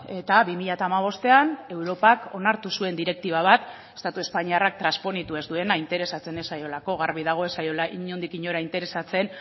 eta bi mila hamabostean europak onartu zuen direktiba bat estatu espainiarrak transponitu ez duena interesatzen ez zaiolako garbi dago ez zaiola inondik inora interesatzen